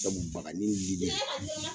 Sabu bagani lili